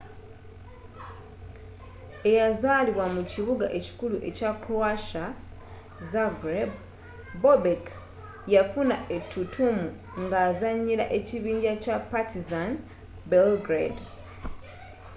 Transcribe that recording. eyazaalibwa mu kibuga ekikulu ekya croatia zagreb bobek yafuna ettutumu ng'azanyira ab'ekibinja kya partizan belgrade